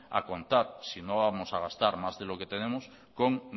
a contar si no vamos a gastar más de lo que tenemos con